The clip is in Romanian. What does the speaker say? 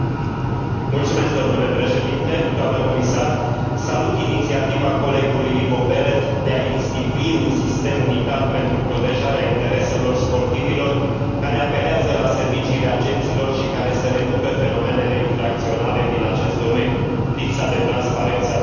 Salut inițiativa colegului Ivo Belet de a institui un sistem unitar pentru protejarea intereselor sportivilor care apelează la serviciile agenților și care să reducă fenomenele infracționale din acest domeniu lipsa de transparență a transferurilor, spălarea de bani, traficul de persoane.